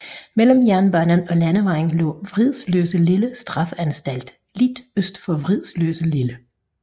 Mellem jernbanen og landevejen lå Vridsløselille straffeanstalt lidt øst for Vridsløselille